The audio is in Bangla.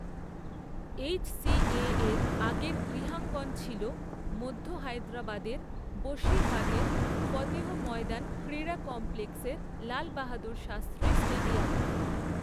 এইচসিএর আগের গৃহাঙ্গন ছিল মধ্য হায়দ্রাবাদের বশিরবাগের ফতেহ ময়দান ক্রীড়া কমপ্লেক্সের লাল বাহাদুর শাস্ত্রী স্টেডিয়াম।